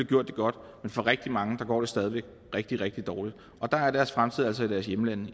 gjort det godt men for rigtig mange går det stadig væk rigtig rigtig dårligt og der er deres fremtid altså i deres hjemlande i